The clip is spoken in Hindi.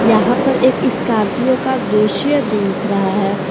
यहां पर एक स्कॉर्पियो का दृश्य दिख रहा है।